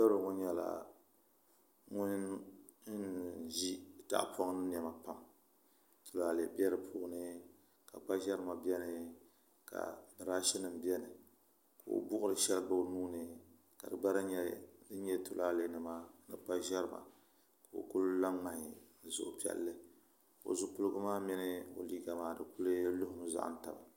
N piribi ŋo nyɛla ŋun ʒi tahapoŋ ni niɛma pam tulaalɛ bɛ di puuni ka kpa ʒɛrima biɛni ka birash nim biɛni ka o buɣuri shɛli gba o nuuni ka di gba lahi nyɛ tulaalɛ nima ni kpa ʒɛrima ka o ku la ŋmai ni suhupiɛlli o zipiligu maa mini o liiga maa di ku lumi n zaham taba